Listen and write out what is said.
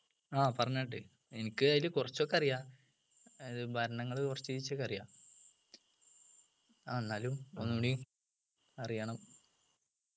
ആഹ് പറഞ്ഞാട്ടെ എനിക്ക് അതില് കുറച്ചൊക്കെ അറിയാ അത് ഭരണങ്ങൾ കുറച്ചിചക്കറിയാ ആഹ് എന്നാലും ഒന്നൂടി അറിയണം